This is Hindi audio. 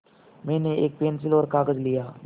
मैंने एक पेन्सिल और कागज़ लिया